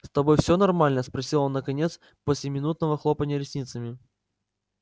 с тобой все нормально спросил он наконец после минутного хлопанья ресницами